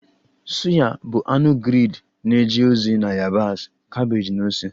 Suya bụ anụ grilled na-eje ozi na yabasị, kabeeji na ose